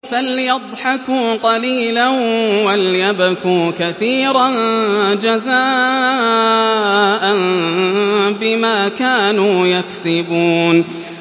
فَلْيَضْحَكُوا قَلِيلًا وَلْيَبْكُوا كَثِيرًا جَزَاءً بِمَا كَانُوا يَكْسِبُونَ